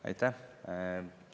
Aitäh!